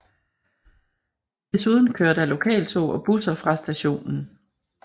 Desuden kører der lokaltog og busser fra stationen